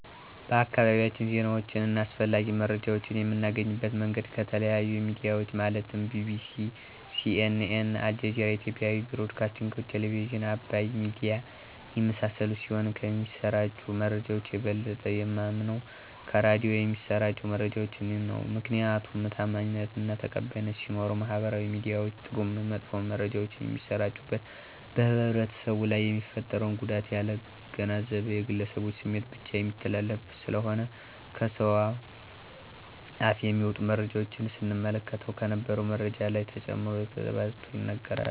በአካባቢያችን ዜናወችን አና አስፈላጊ መረጃወችን የምናገኝበት መንገድ ከተለያዮ ሚድያወች ማለትም ቢቢሲ :ሲኤንኤ :አልጀዚራ የኢትዮጵያ ብሮድካስቲንግ ቴሌብዝን :አባይ ሚድያ የመሳሰሉት ሲሆን ከሚሰራጩ መረጃወች የበለጠ የማምነው ከራዲዮ የሚሰራጩ መረጃወችን ነው። ምክንያቱም ታማኝነት አና ተቀባይነት ሲኖረው ማህበራዊ ሚድያወች ጥሩም መጥፎም መረጃወች የሚሰራጩበት በህብረተሰቡ ላይ የሚፈጥረውን ጉዳት ያላገናዘቡ የግለሰቦችን ስሜት ብቻ የሚተላለፉበት ስለሆነ ነው። ከሰውአፍ የሚወጡ መረጃወችን ስንመለከትም ከነበረው መረጃ ላይ ተጨምሮና ተባዝቶ ይነገራል።